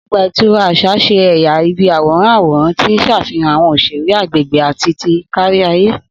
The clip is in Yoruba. Ogba itura aṣa ṣe ẹya ibi aworan aworan ti n ṣafihan awọn oṣere agbegbe ati ti kariaye.